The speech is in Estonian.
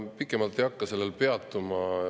Pikemalt ei hakka sellel peatuma.